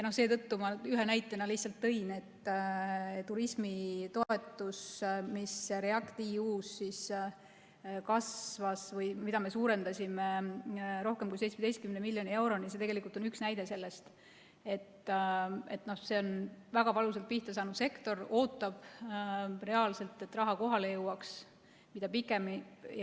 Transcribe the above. Seetõttu ma tõin esile selle, et turismitoetus, mis REACT-EU-s kasvas või mida me suurendasime rohkem kui 17 miljoni euroni, on üks näide sellest, et see on väga valusalt pihtasaanud sektor, mis ootab, et raha reaalselt kohale jõuaks.